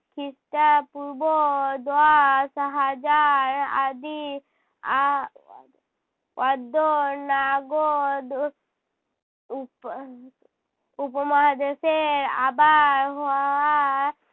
খ্রিস্টাপূর্ব দশ হাজার আদি আ~ অদ্য নাগদ উপ~ উপমহাদেশের আবার হওয়া